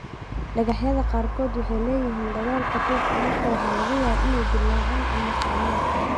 Dhagaxyada qaarkood waxay leeyihiin dabool khafiif ah, markaa waxaa laga yaabaa inay dillaacaan ama furmaan.